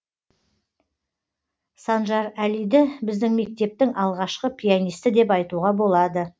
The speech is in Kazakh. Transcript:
санжарәлиді біздің мектептің алғашқы пианисті деп айтуға болады